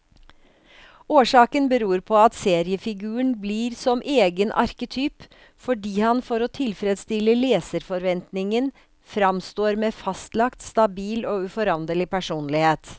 Årsaken beror på at seriefiguren blir som egen arketyp, fordi han for å tilfredstille leserforventningen framstår med fastlagt, stabil og uforanderlig personlighet.